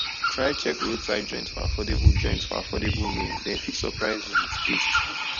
try check roadside joint for affordable joint for affordable meal dem fit surprise you with taste